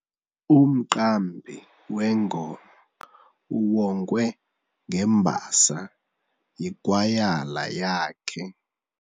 Umqambi wengoma uwongwe ngembasa yikwayala yakhe.